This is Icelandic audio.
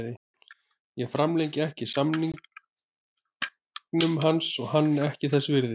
Ég framlengi ekki samningnum hans, hann er ekki þess virði.